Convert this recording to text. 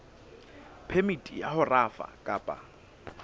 phemiti ya ho rafa kapa